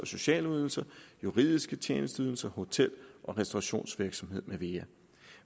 sociale ydelser juridiske tjenesteydelser hotel og restaurationsvirksomhed med mere